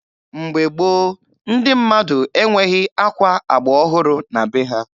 Mgbe gboo, ndi mmadụ enweghi akwa agba ọhụrụ na be ha.